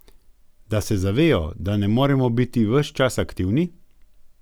Da se zavejo, da ne moremo biti ves čas aktivni.